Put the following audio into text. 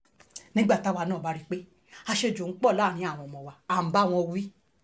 nígbà táwa náà bá rí i pé àṣejù pọ̀ láàrin àwọn ọmọ wa à ń bá wọn wí